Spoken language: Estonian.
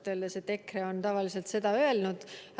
EKRE on tavaliselt öelnud.